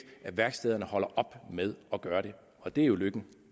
at værkstederne holder op med at gøre det og det er jo lykken